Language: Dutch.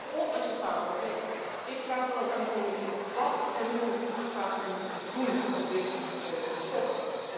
Dat is onacceptabel en ik vraag dan ook aan de Commissie wat en hoe gaat u doen om dit te stoppen?